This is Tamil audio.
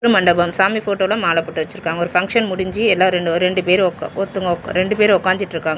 மண்டபம் சாமி போட்டோல மால போட்டு வெச்சிருக்காங்க. ஒரு பங்க்ஷன் முடிஞ்சி எல்லாரு ரெண்டு பேரு ஒக் ஒருத்வங்க ஒக்க ரெண்டு பேரு ஒக்காந்திட்ருக்காங்க.